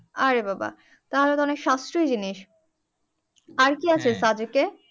আরে বাবা তাহলে তো অনেক সাশ্রয় জিনিস আরকি সাদেকে